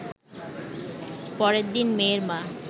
পরের দিন মেয়ের মা